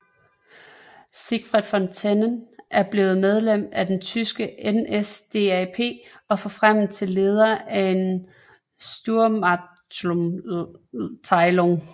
Siegfried von Tennen er blevet medlem af det tyske NSDAP og forfremmes til leder af en sturmabteilung